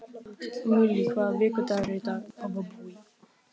Millý, hvaða vikudagur er í dag?